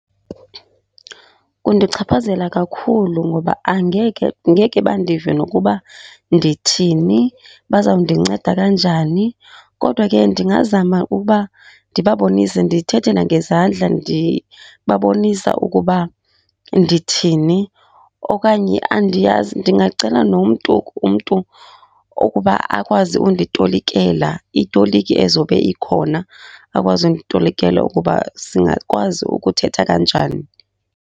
Kundichaphazela kakhulu ngoba angeke ngeke bandive nokuba ndithini, bazawundinceda kanjani. Kodwa ke ndingazama ukuba ndibabonise, ndithethe nangezandla ndibabonisa ukuba ndithini. Okanye andiyazi, ndingacela nomntu umntu okuba akwazi unditolikela, itoliki ezobe ikhona, akwazi unditolikela ukuba singakwazi ukuthetha kanjani